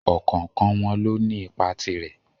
Ọ̀kọ̀ọ̀kan wọn lóní ipa tirẹ́.